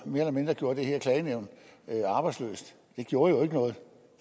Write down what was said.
mere eller mindre gjorde det her klagenævn arbejdsløst det gjorde jo ikke noget